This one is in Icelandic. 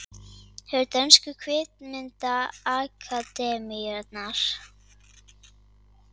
Vefur dönsku kvikmyndaakademíunnar